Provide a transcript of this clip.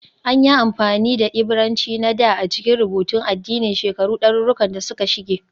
An yi amfani da Ibrananci na dā a cikin rubutun addini shekaru ɗaruruwan da suka shige